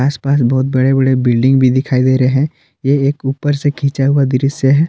आसपास बहोत बड़े बड़े बिल्डिंग भी दिखाई दे रहे हैं ये एक ऊपर से खींचा हुआ दृश्य है।